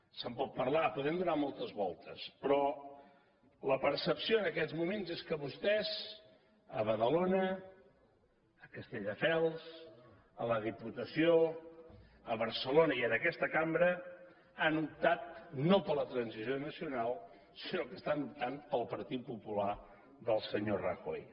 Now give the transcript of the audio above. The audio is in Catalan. se’n pot parlar hi podem donar moltes voltes però la percepció en aquests moments és que vostès a badalona a castelldefels a la diputació a barcelona i en aquesta cambra han optat no per la transició nacional sinó que estan optant pel partit popular del senyor rajoy